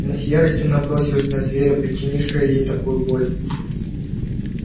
она с яростью набросилась на зверя причинившего ей такую боль